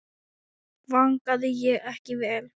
Vangaði ég ekki vel?